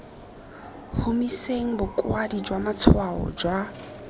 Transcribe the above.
humiseng bokwadi jwa matshwao jwa